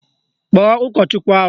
Kpọọ ụkọchukwu ahụ!